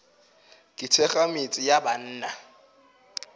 ke thekga metse ya banna